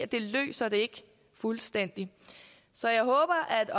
det løser det ikke fuldstændig så jeg håber at